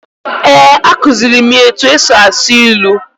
Eh, a kuziri mụ ya etu e si asụ ilu.